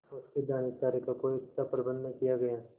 उसके दानेचारे का कोई अच्छा प्रबंध न किया गया